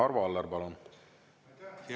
Arvo Aller, palun!